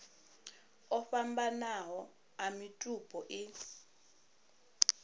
o fhambananaho a mitupo i